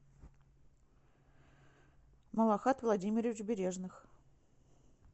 малахат владимирович бережных